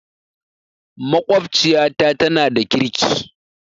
Maƙwabciyata tana da ƙirki